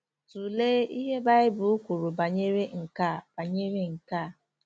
Tụlee ihe Baịbụl kwuru banyere nke a banyere nke a.